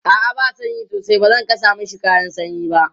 a'a ba sanyi sosai bazan Saka mashi kayan sanyi ba